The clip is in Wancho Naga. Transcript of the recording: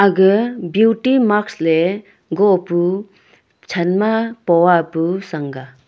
ga beauty mask le gopu chan ma poa pu sang ga.